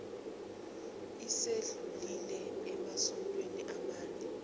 esedlulile emasontweni amane